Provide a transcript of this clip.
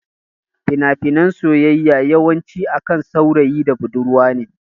Fina finan soyayya yawan ci akan saurayi da budurwa ne